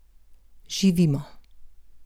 Živimo!